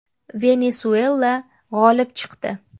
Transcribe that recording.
Venesuela g‘olib chiqdi.